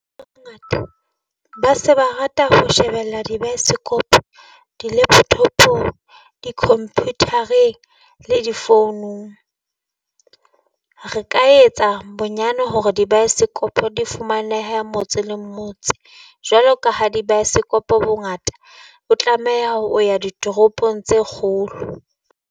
ba se ba rata ho shebella di , di-laptop, di-computer-reng le di-founung. Re ka etsa bonyane hore di bioscope di fumanehe motse la motse jwalo ka ha di-bioscope-o bongata o tlameha o ya ditoropong tse kgolo.